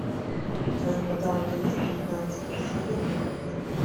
в твоем каталоге есть девятнадцатая серия кухня